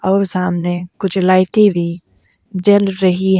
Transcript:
और सामने कुछ लाइटे भी जल रही हैं।